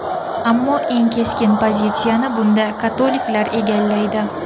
Ammo eng keskin pozitsiyani bunda katoliklar egallaydi.